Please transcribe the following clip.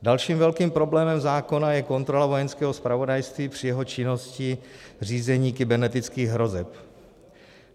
Dalším velkým problémem zákona je kontrola Vojenského zpravodajství při jeho činnosti řízení kybernetických hrozeb.